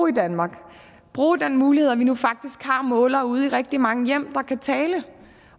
i danmark bruge den mulighed at vi nu faktisk har målere ude i rigtig mange hjem der kan tale